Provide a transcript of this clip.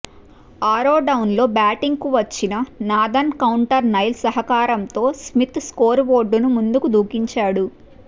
ఆరో డౌన్లో బ్యాటింగ్కు వచ్చిన నాథన్ కౌల్టర్ నైల్ సహకారంతో స్మిత్ స్కోరు బోర్డును ముందుకు దూకించాడు